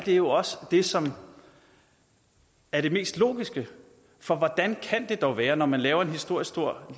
jo også det som er det mest logiske for hvordan kan det dog være når man laver en historisk stor